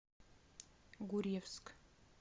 гурьевск